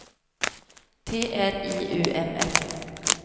T R I U M F